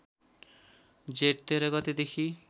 जेठ १३ गतेदेखि